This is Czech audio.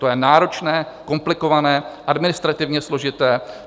To je náročné, komplikované, administrativně složité.